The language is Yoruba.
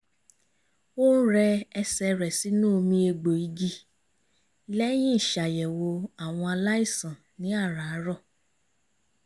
ó ń rẹ ẹsẹ̀ rẹ̀ sínú omi egbò igi lẹ́yìn ìṣàyẹ̀wò àwọn aláìsàn ní àràárọ̀